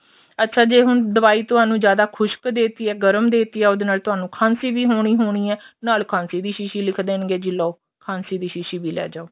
ਅੱਛਾ ਜੇ ਹੁਣ ਦਵਾਈ ਤੁਹਾਨੂੰ ਜਿਆਦਾ ਖੁਸ਼ਕ ਦੇ ਦਿੱਤੀ ਏ ਗਰਮ ਦੇ ਦਿੱਤੀ ਏ ਉਹਦੇ ਨਾਲ ਉਹਨੂੰ ਖਾਂਸੀ ਵੀ ਹੋਣੀ ਹੋਣੀ ਏ ਉਹਦੇ ਨਾਲ ਖਾਂਸੀ ਦੀ ਸ਼ੀਸ਼ੀ ਲਿਖ ਦੇਣਗੇ ਜੀ ਲੋ ਖਾਂਸੀ ਦੀ ਸ਼ੀਸ਼ੀ ਵੀ ਲੈ ਜਾਵੋ